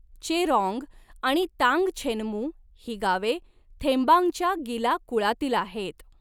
चेरॉंग आणि तांगछेनमू ही गावे थेंबांगच्या गिला कुळातील आहेत.